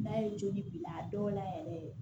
N'a ye joli a dɔw la yɛrɛ